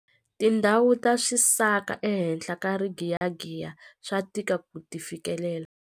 Tindhawu ta swisaka ehenhla ka rigiyagiya swa tika ku ti fikelela.